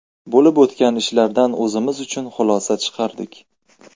Bo‘lib o‘tgan ishlardan o‘zimiz uchun xulosa chiqardik.